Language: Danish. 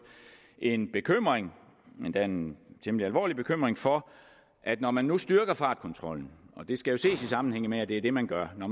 en bekymring endda en temmelig alvorlig bekymring for at når man nu styrker fartkontrollen og det skal ses i sammenhæng med at det er det man gør